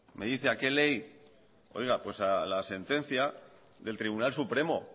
me dice a qué ley oiga pues a la sentencia del tribunal supremo